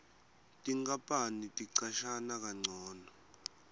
tinkapani ticashana kancono